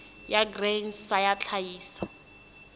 ya grain sa ya tlhahiso